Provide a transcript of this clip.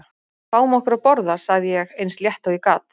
Fáum okkur að borða sagði ég eins létt og ég gat.